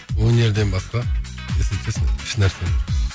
өнерден басқа если честно ешнәрсемен